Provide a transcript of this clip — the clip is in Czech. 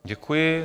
Děkuji.